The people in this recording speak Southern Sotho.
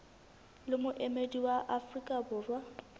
le moemedi wa afrika borwa